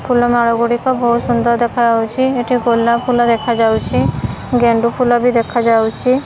ଫୁଲ ମାଳ ଗୁଡ଼ିକ ବୋହୁତ ସୁନ୍ଦର ଦେଖାଯାଉଛି। ଏଠି ଗୋଲାପ ଫୁଲ ଦେଖାଯାଉଛି। ଗେଣ୍ଡୁଫୁଲ ବି ଦେଖାଯାଉଛି।